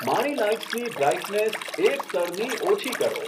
મારી લાઈટ્સની બ્રાઈટનેસ એક સ્તરની ઓછી કરો